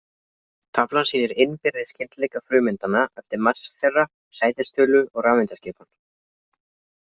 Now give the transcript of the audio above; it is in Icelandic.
Taflan sýnir innbyrðis skyldleika frumeindanna eftir massa þeirra, sætistölu og rafeindaskipan.